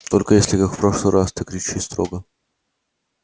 только если как в прошлый раз ты кричи строго